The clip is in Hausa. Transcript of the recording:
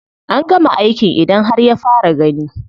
An gama aikin idon har ya fara gani.